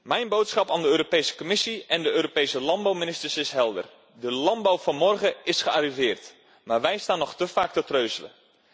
Mijn boodschap aan de Europese Commissie en de Europese landbouwministers is helder. De landbouw van morgen is gearriveerd, maar wij staan nog te vaak te treuzelen.